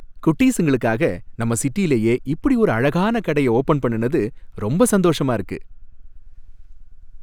குட்டீஸுங்களுக்காக நம்ம சிட்டிலயே இப்படி ஒரு அழகான கடைய ஓபன் பண்ணுனது ரொம்ப சந்தோஷமா இருக்கு.